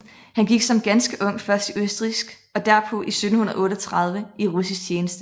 Han gik som ganske ung først i østrigsk og derpå 1738 i russisk tjeneste